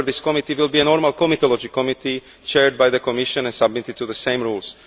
However this committee will be a normal comitology committee chaired by the Commission and subject to the same rules